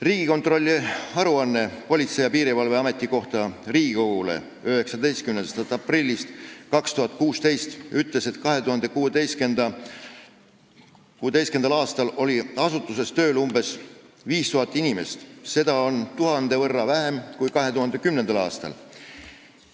Riigikontrolli aruanne Politsei- ja Piirivalveameti kohta Riigikogule 19. aprillist 2016 ütles, et 2016. aastal oli selles asutuses tööl umbes 5000 inimest, seda oli tuhande võrra vähem kui 2010. aastal.